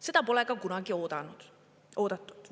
Seda pole ka kunagi oodatud.